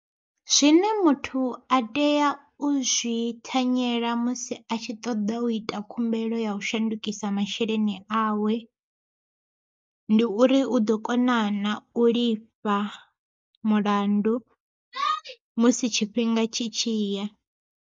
Zwine muthu a tea u zwi thanyela musi a tshi ṱoḓa u ita khumbelo ya u shandukisa masheleni awe, ndi uri u ḓo kona na u lifha mulandu musi tshifhinga tshi tshi ya.